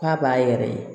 K'a b'a yɛrɛ ye